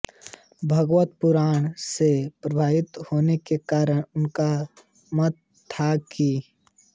भागवत पुराण से प्रभावित होने के कारण उनका मत था कि